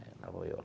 Aí lá vou eu.